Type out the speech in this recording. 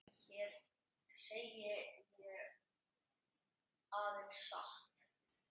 Hér segi ég aðeins satt.